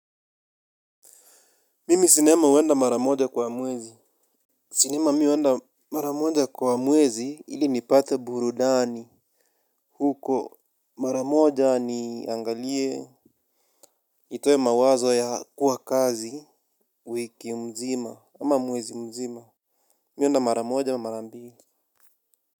Mimi sinema huenda mara moja kwa mwezi. Sinema mi huenda mara moja kwa mwezi ili nipate burudani. Huko mara moja niangalie. Nitoe mawazo ya kuwa kazi. Wiki mzima ama mwezi mzima. Mi huenda mara moja au mara mbili.